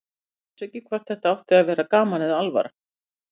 Þau vissu ekki hvort þetta átti að vera gaman eða alvara.